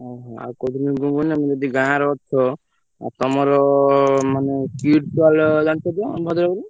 ଓହୋ ଆଉ କହୁଥିଲି ମୁଁ କଣନା ତମେ ଯଦି ଗାଁରେ ଅଛ ଆଉ ତମର ମାନେ Kids World ଜାଣିଛତ ଆମ ଭଦ୍ରକର?